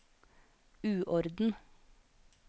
uorden